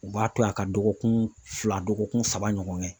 U b'a tila ka dɔgɔkun fila dɔgɔkun saba ɲɔgɔn kɛ.